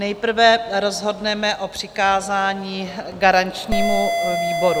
Nejprve rozhodneme o přikázání garančnímu výboru.